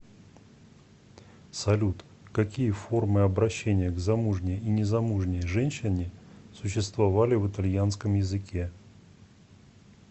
салют какие формы обращения к замужней и незамужней женщине существовали в итальянском языке